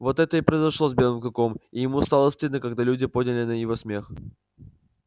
вот это и произошло с белым клыком и ему стало стыдно когда люди подняли его на смех